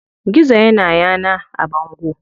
Gizo ya na yana a bango.